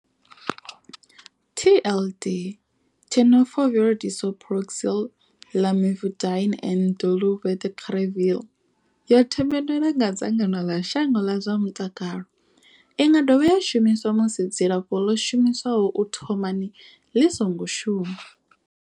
TLD Tenofovir disoproxil, Lamivudine and dolutegravir yo themendelwa nga dzangano ḽa shango ḽa zwa mutakalo. I nga dovha ya shumiswa musi dzilafho ḽo shumiswaho u thomani ḽi songo shuma.